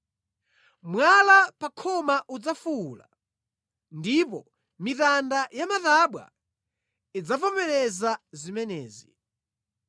Mwala pa khoma udzafuwula, ndipo mitanda ya matabwa idzavomereza zimenezi.